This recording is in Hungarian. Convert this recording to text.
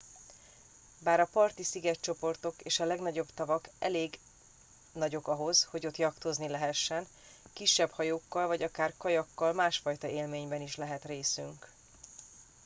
bár a parti szigetcsoportok és a legnagyobb tavak elég nagyok ahhoz hogy ott jachtozni lehessen kisebb hajókkal vagy akár kajakkal másfajta élményben is lehet részünk